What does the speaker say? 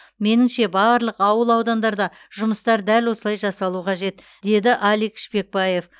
меніңше барлық ауыл аудандарда жұмыстар дәл осылай жасалу қажет деді алик шпекбаев